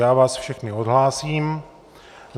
Já vás všechny odhlásím.